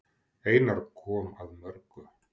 Einar kom að mörgu.